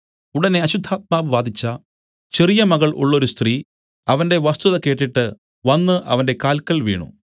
ഉടനെ അശുദ്ധാത്മാവ് ബാധിച്ച ചെറിയ മകൾ ഉള്ളൊരു സ്ത്രീ അവന്റെ വസ്തുത കേട്ടിട്ട് വന്നു അവന്റെ കാല്ക്കൽ വീണു